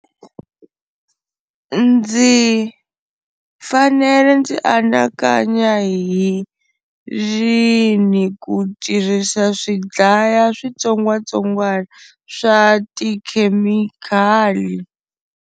Ndzi fanele ndzi anakanya hi rini ku tirhisa swi dlaya switsongwatsongwana swa tikhemikhali.